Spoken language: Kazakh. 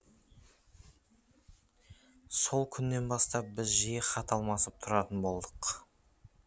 сол күннен бастап біз жиі хат алмасып тұратын болдық